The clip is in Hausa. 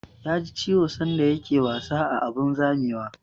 Ya ji ciwo sanda ya ke wasa a abun zamewa